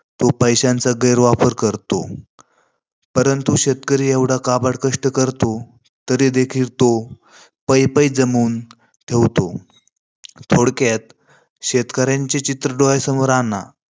तो पैश्यांचा गैरवापर करतो. परंतु शेतकरी एवढा काबाड कष्ट करतो. तरी देखील तो पै-पै जमवून ठेवतो. थोडक्यात शेतकऱ्यांचे चित्र डोळ्यासमोर आणा.